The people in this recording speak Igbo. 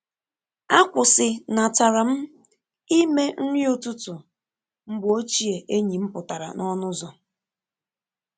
Akwụsị natara m ime nri ụtụtụ mgbe ochie enyi m pụtara n’ọnụ ụzọ.